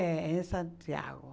É, em Santiago.